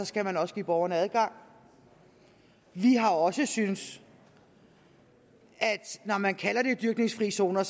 skal man også give borgerne adgang vi har også syntes at når man kalder det dyrkningsfri zoner